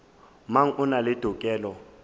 mang o na le tokelo